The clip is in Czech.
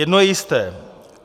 Jedno je jisté.